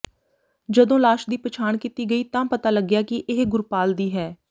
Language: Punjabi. ਜਦੋਂ ਲਾਸ਼ ਦੀ ਪਛਾਣ ਕੀਤੀ ਗਈ ਤਾਂ ਪਤਾ ਲੱਗਿਆ ਕਿ ਇਹ ਗੁਰਪਾਲ ਦੀ ਹੈ